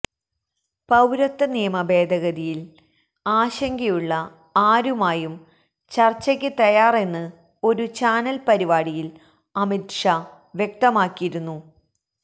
പൌരത്വ നിയമ ഭേദഗതിയില് ആശങ്കയുള്ള ആരുമായും ചര്ച്ചയ്ക്ക് തയ്യാറെന്ന് ഒരു ചാനല് പരിപാടിയില് അമിത് ഷാ വ്യക്തമാക്കിയിരുന്നു